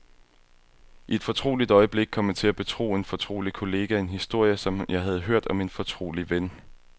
I et fortroligt øjeblik kom jeg til at betro en fortrolig kollega en historie, jeg havde hørt om en fortrolig ven.